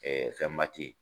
fɛn ba tɛ ye.